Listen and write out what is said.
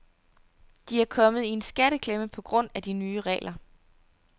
De er kommet i en skatteklemme på grund af de nye regler.